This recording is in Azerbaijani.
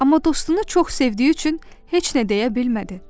Amma dostunu çox sevdiyi üçün heç nə deyə bilmədi.